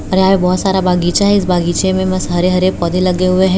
और यहां बहुत सारा बगीचा है इस बगीचे में बस हरे हरे पौधे लगे हुए हैं।